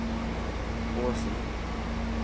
Åsen